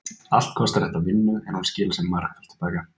Allt kostar þetta vinnu en hún skilar sér margfalt til baka.